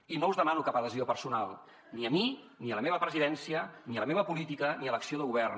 i no us demano cap adhesió personal ni a mi ni a la meva presidència ni a la meva política ni a l’acció de govern